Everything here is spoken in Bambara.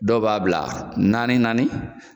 Dɔw b'a bila naani naani.